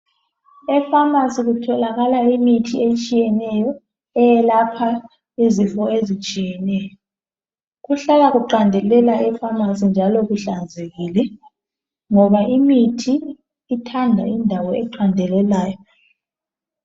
Ekhemisi kutholakala imithi etshiyeneyo eyelapha izifo ezitshiyeneyo. Kuhlala kuqandelela eKhemisi njalo kuhlanzekile, ngoba imithi ithanda indawo eqandelelayo.